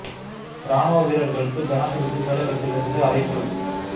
இராணுவ வீரர்களுக்கு ஜனாதிபதி செயலகத்திலிருந்து அழைப்பு